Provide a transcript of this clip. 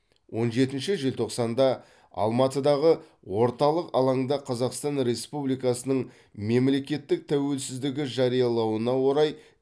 он жетінші желтоқсанда алматыдағы орталық алаңда қазақстан республикасының мемлекеттік тәуелсіздігі жариялануына орай